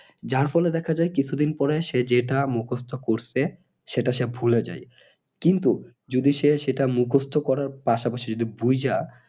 যার ফলে দেখা যাই কি কিছুদিন পরে সে যেটা মুখস্ত করছে সেটা সে ভুলে যায় কিন্তু যদি সে সেটা মুখস্ত করার পাশাপাশি যদি বুইঝা